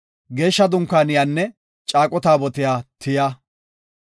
Geeshsha Dunkaaniyanne Caaqo Taabotiya tiya.